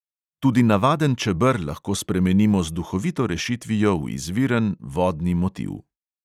Tudi navaden čeber lahko spremenimo z duhovito rešitvijo v izviren vodni motiv.